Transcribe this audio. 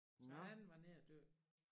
Så han var nede at dykke